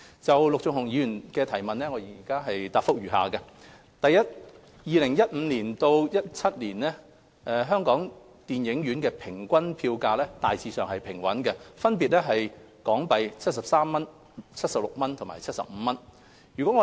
就陸頌雄議員的質詢，我現答覆如下：一2015年至2017年本港電影院的平均票價大致平穩，分別為港幣73元、76元及75元。